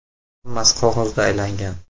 Hammasi qog‘ozda aylangan.